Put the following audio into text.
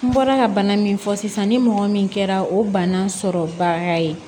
N bɔra ka bana min fɔ sisan ni mɔgɔ min kɛra o bana sɔrɔbaga ye